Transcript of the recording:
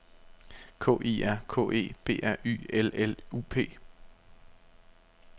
K I R K E B R Y L L U P